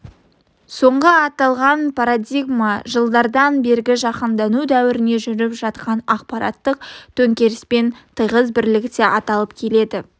соңғы аталған парадигма жылдардан бергі жаһандану дәуірінде жүріп жатқан ақпараттық төңкеріспен тығыз бірлікте аталынып келеді